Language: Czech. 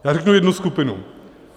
Já řeknu jednu skupinu.